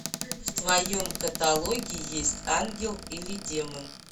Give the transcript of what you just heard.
в твоем каталоге есть ангел или демон